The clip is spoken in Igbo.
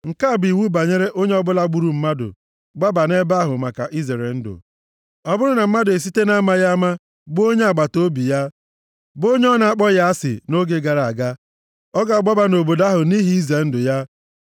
Nke a bụ iwu banyere onye ọbụla gburu mmadụ gbaba nʼebe ahụ maka izere ndụ. Ọ bụrụ na mmadụ esite na-amaghị ama gbuo onye agbataobi ya, bụ onye ọ na-akpọghị asị nʼoge gara aga, ọ ga-agbaba nʼobodo ahụ nʼihi ize ndụ ya.